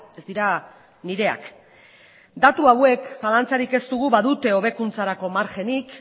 ez dira nireak datu hauek zalantzarik ez dugu badute hobekuntzarako margenik